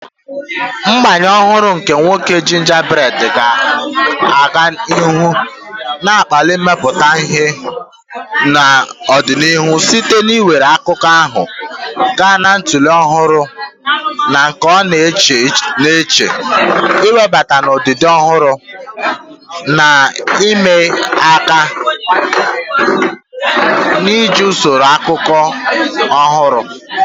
Ngbanwe ọhụrụ nke nwoke Gingerbread ga-aga n'ihu na-akpali mmepụta ihe n'ọdịnihu site n'iwere akụkọ ahụ gaa na ntọala ọhụrụ na nke a na-eche n'echiche, iwebata ihe odide ọhụrụ na ihe ịma aka, na iji usoro ịkọ akụkọ ọhụrụ.